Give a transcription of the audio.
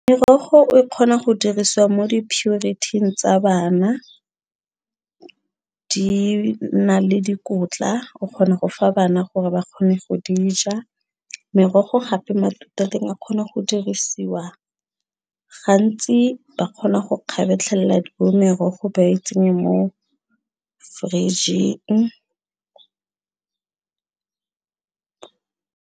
Morogo o kgona go dirisiwa mo di purity-ng tsa bana di na le dikotla o kgona go fa bana gore ba kgone go di ja merogo gape matute a teng a kgona go dirisiwa gantsi ba kgona go kgabetlhelela bo merogo ba itsenye mo fridge-ng.